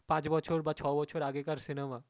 পাঁচ বছর বা ছয় বছর আগে কার cinema